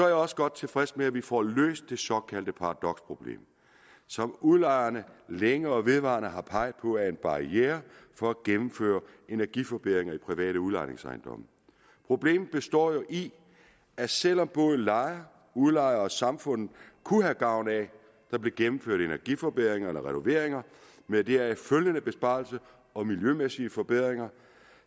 jeg også godt tilfreds med at vi får løst det såkaldte paradoksproblem som udlejerne længe og vedvarende har peget på er en barriere for at gennemføre energiforbedringer i private udlejningsejendomme problemet består jo i at selv om både lejere udlejere og samfundet kunne have gavn af at der blev gennemført energiforbedringer eller renoveringer med deraf følgende besparelser og miljømæssige forbedringer